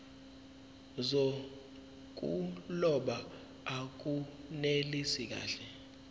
zokuloba akunelisi kahle